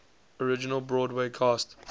original broadway cast